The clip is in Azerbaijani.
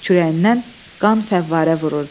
Kürəyindən qan fəvvarə vururdu.